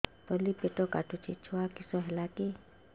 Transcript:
ତଳିପେଟ କାଟୁଚି ଛୁଆ କିଶ ହେଲା କି